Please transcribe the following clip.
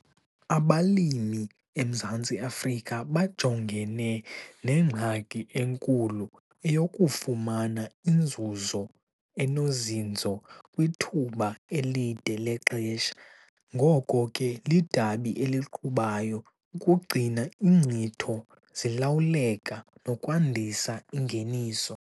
Abalimi eMzantsi Afrika bajongene nengxaki enkulu - eyokufumana inzuzo enozinzo kwithuba elide lexesha. Ngoko ke, lidabi eliqhubayo ukugcina iinkcitho zilawuleka nokwandisa ingeniso.